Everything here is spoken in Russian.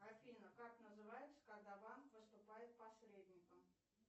афина как называется когда банк выступает посредником